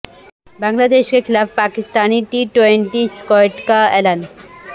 بنگلہ دیش کے خلاف پاکستانی ٹی ٹوئنٹی اسکواڈ کا اعلان